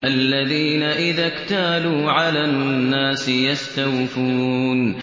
الَّذِينَ إِذَا اكْتَالُوا عَلَى النَّاسِ يَسْتَوْفُونَ